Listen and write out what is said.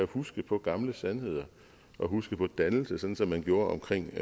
huske på gamle sandheder og huske på dannelse sådan som man gjorde omkring